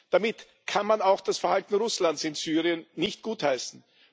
Damit kann man auch das Verhalten Russlands in Syrien nicht gutheißen.